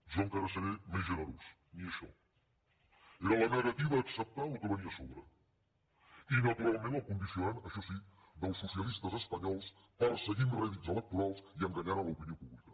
jo encara seré més generós ni això era la negativa a acceptar el que venia a sobre i naturalment el condicionant això sí dels socialistes espanyols perseguint rèdits electorals i enganyant l’opinió pública